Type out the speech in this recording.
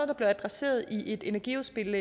der blev adresseret i et energiudspil